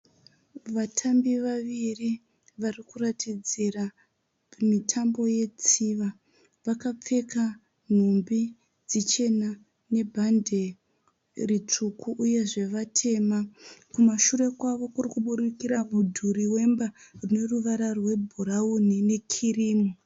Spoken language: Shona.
Vatamba vaviri varikuratidzira mitambo wetsiva. Vakapfeka nhumbi dzichena nebhande ritsvuku uyezve vatema. Kumashure kwavo kurikubudikira mudhuri wemba uneruvara rwebhurauni nekirimu.